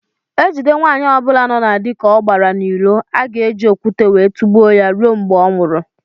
Ejide nwaanyị obula no na dị ka ọ gbara n' ilo aga ebi okwute wee tugbuo ya rue mgbe ọnwuru